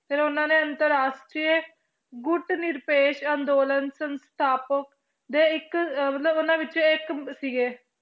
ਫਿਰ ਉਹਨਾਂ ਨੇ ਅੰਤਰ ਰਾਸ਼ਟਰੀ ਗੁੱਟ ਨਿਰਪੇਸ਼ ਅੰਦੋਲਨ ਸੰਸਥਾਪਕ ਦੇ ਇੱਕ ਅਹ ਮਤਲਬ ਉਹਨਾਂ ਵਿੱਚੋਂ ਇੱਕ ਸੀਗੇ।